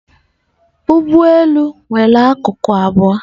Ụgbọ elu nwere nku abụọ